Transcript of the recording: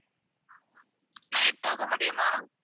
night போக முடியுமா?